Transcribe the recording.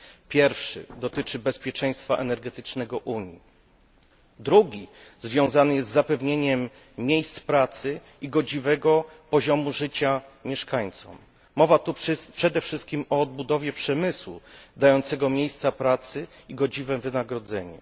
Pierwszy dotyczy bezpieczeństwa energetycznego Unii, drugi związany jest z zapewnieniem miejsc pracy i godziwego poziomu życia mieszkańcom. Mowa tu przede wszystkim o odbudowie przemysłu dającego miejsca pracy i godziwe wynagrodzenie.